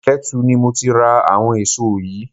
Ketu ni mo ti ra àwọn èso yìí.